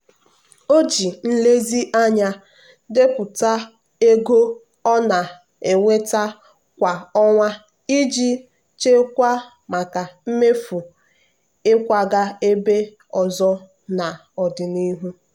o ji nlezianya depụta ego ọ na-enweta kwa ọnwa iji chekwaa maka mmefu ịkwaga ebe ọzọ n'ọdịnihu.